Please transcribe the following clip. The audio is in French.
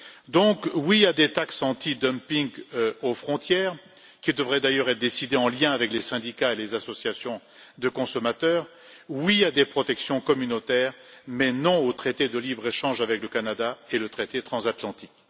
Par conséquent, oui à des taxes anti dumping aux frontières, qui devraient d'ailleurs être décidées en lien avec les syndicats et les associations de consommateurs, oui à des protections communautaires, mais non au traité de libre échange avec le Canada et au traité transatlantique.